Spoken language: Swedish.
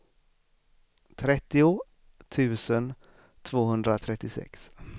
trettio tusen tvåhundratrettiosex